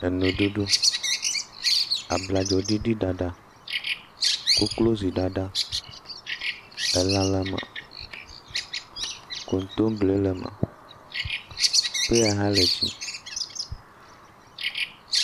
Enuɖuɖu, abladzo ɖiɖi ɖaɖa, koklozi ɖaɖa, elã le me. Kontoble le me, peya ha le dzi.